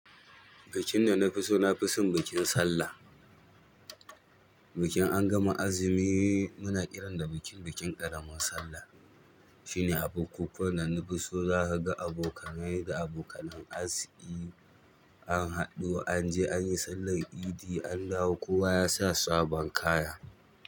Bikin da na fi so na fi so bikin Sallah. Bikin an gama azumi muna kiran da bikin, bikin ƙaramar Sallah. Shine abu kukkuwan da na fi so, za ka ga abokanai da abokanen arziki anhaɗu an je an yi sallan idi an dawo kowa ya sa sabon kaya.